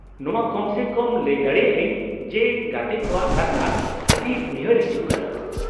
-ᱱᱚᱶᱟ ᱠᱚᱢ ᱥᱮ ᱠᱚᱢ ᱞᱟᱹᱭ ᱫᱟᱲᱮᱭᱟᱜ ᱟᱹᱧ ᱡᱮ ᱜᱟᱛᱮ ᱠᱚᱣᱟᱜ ᱠᱟᱛᱷᱟ ᱟᱹᱰᱤ ᱩᱭᱦᱟᱹᱨ ᱦᱤᱡᱩᱜ ᱠᱟᱱᱟ ᱾